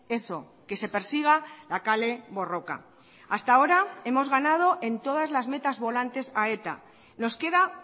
eso que se persiga la kale borroka hasta ahora hemos ganado en todas las metas volantes a eta nos queda